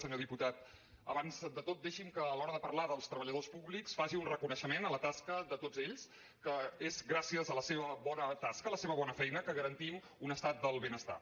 senyor diputat abans de tot deixi’m que a l’hora de parlar dels treballadors públics faci un reconeixement a la tasca de tots ells que és gràcies a la seva bona tasca la seva bona feina que garantim un estat del benestar